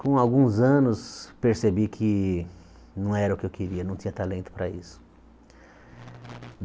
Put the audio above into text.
Com alguns anos, percebi que não era o que eu queria, não tinha talento para isso.